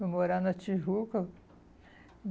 Fui morar na Tijuca.